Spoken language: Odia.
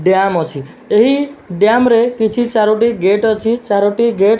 ଡ୍ୟାମ୍ ଅଛି। ଏହି ଡ୍ୟାମରେ କିଛି ଚାରୋଟି ଗେଟ୍ ଅଛି। ଚାରୋଟି ଗେଟ୍ --